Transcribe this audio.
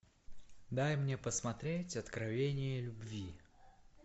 дай мне посмотреть откровение любви